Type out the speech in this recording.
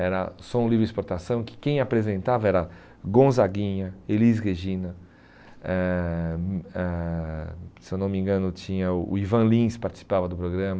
Era Som Livre Exportação, que quem apresentava era Gonzaguinha, Elis Regina, eh hum eh se eu não me engano, tinha o Ivan Lins participava do programa.